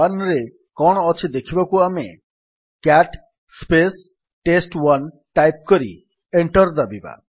test1ରେ କଣ ଅଛି ଦେଖିବାକୁ ଆମେ କ୍ୟାଟ୍ ଟେଷ୍ଟ1 ଟାଇପ୍ କରି ଏଣ୍ଟର୍ ଦାବିବା